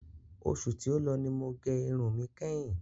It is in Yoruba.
Oṣù tí ó lọ ni mo gẹ irun mi kẹ́hin.